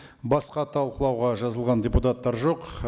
басқа талқылауға жазылған депутаттар жоқ